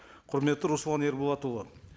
құрметті руслан ерболатұлы